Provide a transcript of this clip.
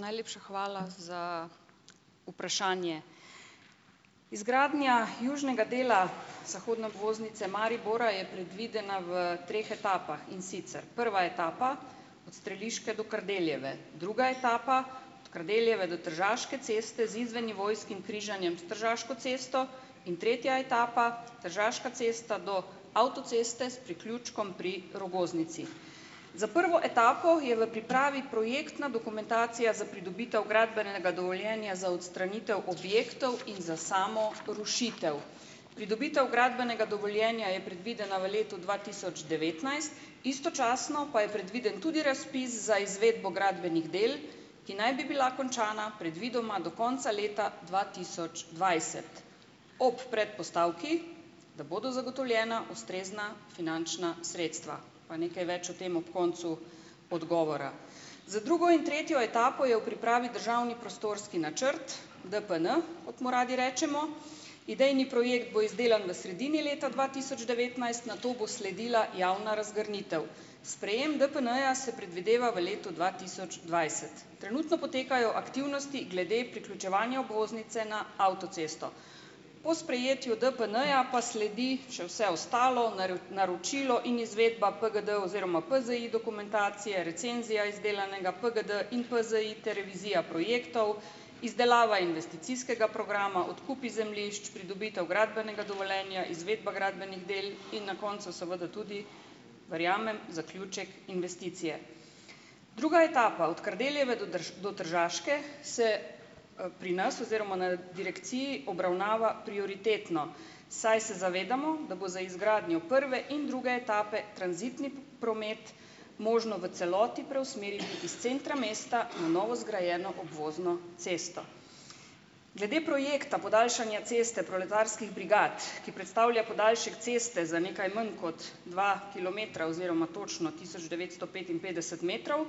Najlepša hvala za vprašanje. Izgradnja južnega dela zahodne obvoznice Maribora je predvidena v treh etapah, in sicer prva etapa, od Streliške do Kardeljeve. Druga etapa od Kardeljeve do Tržaške ceste z izvennivojskim križanjem s Tržaško cesto. In tretja etapa, Tržaška cesta do avtoceste s priključkom pri Rogoznici. Za prvo etapo je v pripravi projektna dokumentacija za pridobitev gradbenega dovoljenja za odstranitev objektov in za samo rušitev. Pridobitev gradbenega dovoljenja je predvidena v letu dva tisoč devetnajst, istočasno pa je predviden tudi razpis za izvedbo gradbenih del, ki naj bi bila končana predvidoma do konca leta dva tisoč dvajset. Ob predpostavki, da bodo zagotovljena ustrezna finančna sredstva, pa nekaj več o tem ob koncu odgovora. Za drugo in tretjo etapo je v pripravi državni prostorski načrt DPN, kot mu radi rečemo, idejni projekt bo izdelan v sredini leta dva tisoč devetnajst, nato bo sledila javna razgrnitev. Sprejem DPN-ja se predvideva v letu dva tisoč dvajset. Trenutno potekajo aktivnosti glede priključevanja obvoznice na avtocesto. Po sprejetju DPN-ja pa sledi še vse ostalo, naročilo in izvedba PGD oziroma PZI dokumentacije, recenzija izdelanega PGD in PZI ter revizija projektov, izdelava investicijskega programa, odkupi zemljišč, pridobitev gradbenega dovoljenja, izvedba gradbenih del in na koncu seveda tudi, verjamem, zaključek investicije. Druga etapa, od Kardeljeve do do Tržaške se, pri nas oziroma na direkciji obravnava prioritetno, saj se zavedamo, da bo za izgradnjo prve in druge etape tranzitni promet možno v celoti preusmeriti iz centra mesta na novo zgrajeno obvozno cesto. Glede projekta podaljšanja Ceste proletarskih brigad, ki predstavlja podaljšek ceste za nekaj manj kot dva kilometra oziroma točno tisoč devetsto petinpetdeset metrov,